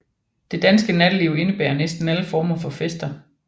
Det danske natteliv indebærer næsten alle former for fester